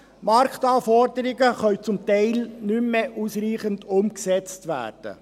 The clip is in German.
Die Marktanforderungen können zum Teil nicht mehr ausreichend umgesetzt werden.